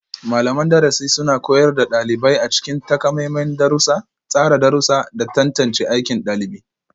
Malaman darasi suna koyar da ɗalibai a cikin takamaiman darussa, tsara darussa, da tantance aikin ɗalibi.